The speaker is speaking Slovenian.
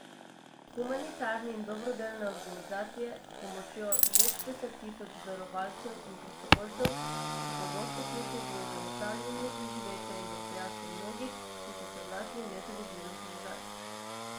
Humanitarne in dobrodelne organizacije, s pomočjo več deset tisoč darovalcev in prostovoljcev, so pogosto ključne pri zagotavljanju preživetja in dostojanstva mnogih, ki so se znašli v nezavidljivem položaju.